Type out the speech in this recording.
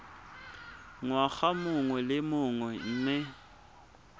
ngwaga mongwe le mongwe mme